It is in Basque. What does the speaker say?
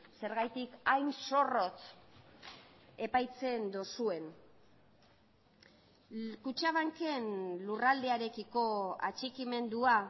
zergatik hain zorrotz epaitzen duzuen kutxabanken lurraldearekiko atxikimendua